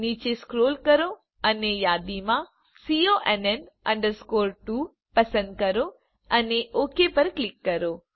નીચે સ્ક્રોલ કરો અને યાદીમાંથી CONN 2 પસંદ કરો અને ઓક પર ક્લિક કરો